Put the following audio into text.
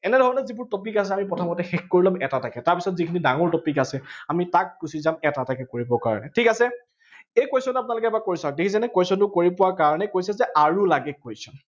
এনেধৰনে যিবোৰ topic আছে, আমি প্ৰথমতে শেষ কৰি লম, এটা এটাকে। তাৰপিছত যিবোৰ ডাঙৰ topic আছে, আমি তাত গুছি যাম এটা এটাকে কৰিবৰ কাৰনে। ঠিক আছে, এই question টো আপোনালোকে এবাৰ কৰি চাওক, দেখিছেনে question বোৰ কৰি পোৱাৰ কাৰনে কৈছে যে আৰু লাগে question